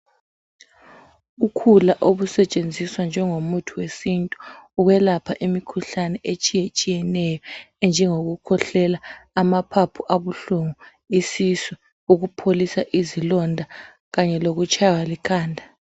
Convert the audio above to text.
Ukhula obusetshenziwa njengomuthi wesintu ukwelapha imikhuhlane etshiyeneyo enjengoku khwehlela amaphapho abuhlungu isisu ukupholisa izilonda kanye lokutshaywa likhanda.